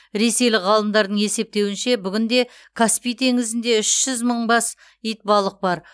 ресейлік ғалымдардың есептеуінше бүгінде каспий теңізінде үш жүз мың бас итбалық бар